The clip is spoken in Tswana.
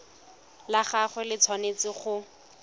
la gagwe le tshwanetse go